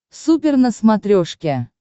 супер на смотрешке